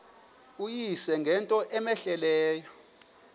uyise ngento cmehleleyo